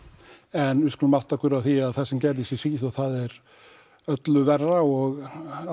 en við skulum átta okkur á því að það sem gerðist í Svíþjóð var öllu verra og